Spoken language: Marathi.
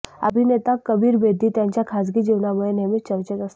अभिनेता कबीर बेदी त्यांच्या खासगी जीवनामुळे नेहमीच चर्चेत असतात